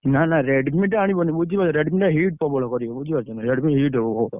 ନା ନା Redmi ଟା ଆଣିବନି ବୁଝିପାରୁଛ Redmi ଟା heat ପ୍ରବଳ କରିବ ବୁଝିପାରୁଛ ନା Redmi heat ହବ ।